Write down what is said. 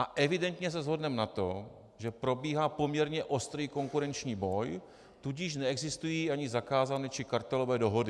A evidentně se shodneme na tom, že probíhá poměrně ostrý konkurenční boj, tudíž neexistují ani zakázané či kartelové dohody.